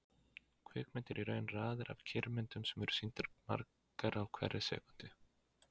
Kvikmynd er í raun raðir af kyrrmyndum sem eru sýndar margar á hverri sekúndu.